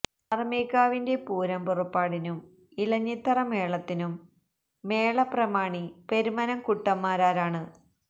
പാറമേക്കാവിന്റെ പൂരം പുറപ്പാടിനും ഇലഞ്ഞിത്തറ മേളത്തിനും മേളപ്രമാണി പെരുവനം കുട്ടൻ മാരാരാണ്